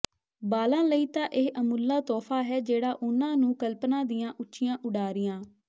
ਬਾਲਾਂ ਲਈ ਤਾਂ ਇਹ ਅਮੁੱਲਾ ਤੋਹਫ਼ਾ ਹੈ ਜਿਹੜਾ ਉਹਨਾਂ ਨੂੰ ਕਲਪਨਾ ਦੀਆਂ ਉੱਚੀਆਂ ਉਡਾਰੀਆਂ